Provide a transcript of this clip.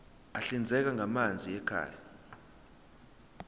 ahlinzekwa ngamanzi ekhaya